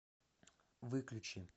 выключи